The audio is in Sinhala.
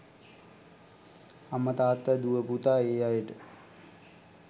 අම්ම තාත්ත දුව පුතා ඒ අයට